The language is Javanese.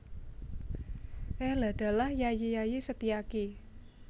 Eladalah Yayi Yayi Setiaki